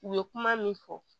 U ye kuma min fɔ